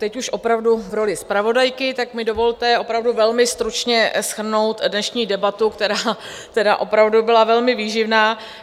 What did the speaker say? Teď už opravdu v roli zpravodajky, tak mi dovolte opravdu velmi stručně shrnout dnešní debatu, která opravdu byla velmi výživná.